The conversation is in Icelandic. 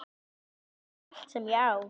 Hann endurtók: Allt sem ég á